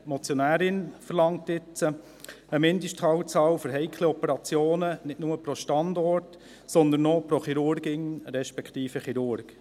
Die Motionärin verlangt jetzt eine Mindestfallzahl für heikle Operationen, nicht nur pro Standort, sondern auch pro Chirurgin respektive Chirurg.